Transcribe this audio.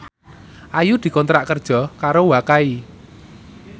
Ayu dikontrak kerja karo Wakai